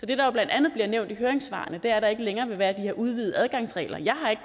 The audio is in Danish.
det der jo blandt andet bliver nævnt i høringssvarene at der ikke længere vil være de her udvidede adgangsregler jeg har ikke